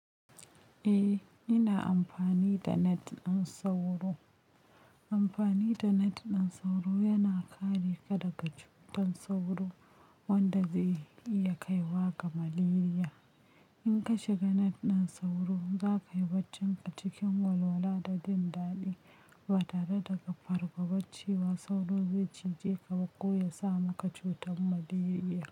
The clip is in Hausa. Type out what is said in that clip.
Eh, ina amfani da net ɗin sauro. Amfani da net ɗin sauro yana kare ka daga cutar sauro wanda zai iya kaiwa ga malaria. In ka shiga net ɗin sauro, za ka yi baccin ka cikin walwala da jindadi ba tare da fargabar cewa sauro zai cije ka ko ya sa maka cutar malaria.